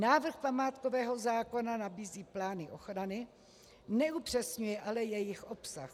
Návrh památkového zákona nabízí plány ochrany, neupřesňuje ale jejich obsah.